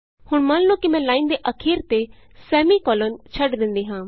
ਹੁਣ ਮੰਨ ਲਉ ਕਿ ਮੈਂ ਲਾਈਨ ਦੇ ਅਖੀਰ ਤੇ ਸੈਮੀਕੋਲਨ ਛੱਡ ਦਿੰਦੀ ਹਾਂ